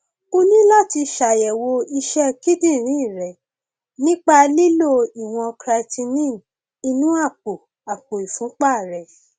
o ní láti ṣàyẹwò iṣẹ kíndìnrín rẹ nípa lílo ìwọn creatinine inú àpò àpò ìfúnpá rẹ